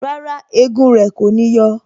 Rárá, egun rẹ kò ní yọ